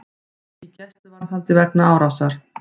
Í gæsluvarðhaldi vegna árásar